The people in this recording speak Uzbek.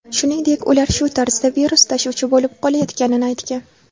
Shuningdek, ular shu tarzda virus tashuvchi bo‘lib qolayotganini aytgan.